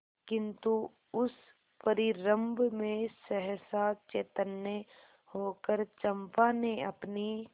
किंतु उस परिरंभ में सहसा चैतन्य होकर चंपा ने अपनी